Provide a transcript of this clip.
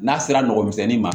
N'a sera nɔgɔmisɛnni ma